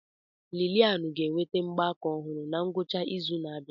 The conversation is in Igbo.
Lillian ga-enweta mgbaaka ọhụrụ na ngwụcha izu na-abịa.